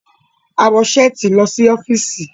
a wọ Ṣẹ́ẹ̀tì ló sí ọfiisi.